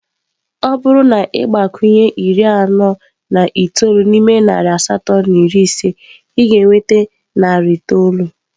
Ọ bụrụ na ị gbakwunye iri anọ na itoolu n'ime narị asatọ na iri ise, ị ga-enweta narị itoolu.